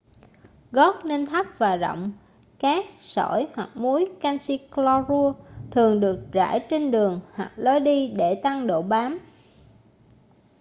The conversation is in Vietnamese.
gót nên thấp và rộng. cát sỏi hoặc muối canxi clorua thường được rải trên đường hoặc lối đi để tăng độ bám